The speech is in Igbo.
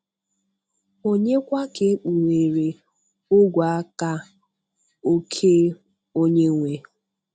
ònye kwa ka ekpughere ogwe-aka oke Onye-nwe?